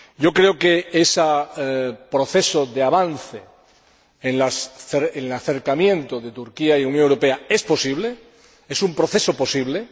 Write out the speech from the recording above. Creo que ese proceso de avance en el acercamiento de Turquía y Unión Europea es posible, es un proceso posible.